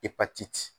Ipatiti